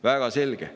Väga selge.